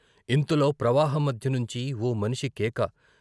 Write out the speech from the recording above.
ఇంతలో ప్రవాహం మధ్య నుంచి ఓ మనిషి కేక.